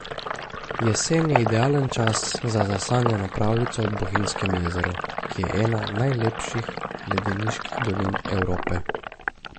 Jesen je idealen čas za zasanjano pravljico ob Bohinjskem jezeru, ki je ena najlepših ledeniških dolin Evrope.